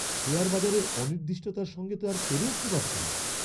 Share বাজারের অনির্দিষ্টতার সঙ্গে তো আর পেরে উঠতে পারছি না।